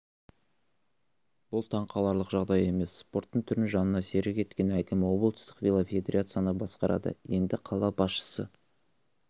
бұл таңқаларлық жағдай емес спорттың түрін жанына серік еткен әкім облыстық велофедерацияны басқарады енді қала басшысы